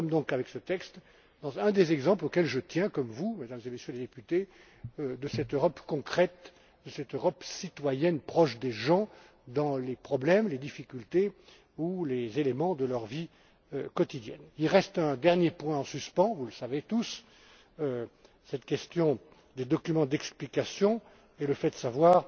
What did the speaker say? Nous avons donc avec ce texte un des exemples auxquels je tiens comme vous, Mesdames et Messieurs les députés de cette Europe concrète, de cette Europe citoyenne proche des gens, de leurs problèmes, de leurs difficultés ou de leurs éléments de leur vie quotidienne. Il reste un dernier point en suspens vous le savez tous cette question des documents d'explication et le fait de savoir